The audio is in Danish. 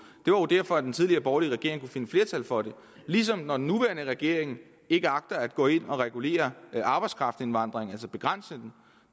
jo derfor at den tidligere borgerlige regering kunne finde flertal for det ligesom når den nuværende regering ikke agter at gå ind at regulere arbejdskraftindvandringen altså begrænse den